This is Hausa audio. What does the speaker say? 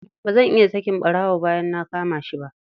Ba zan iya sakin ɓarawo bayan na kama shi ba.